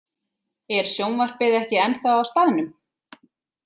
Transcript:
Er sjónvarpið ekki ennþá á staðnum?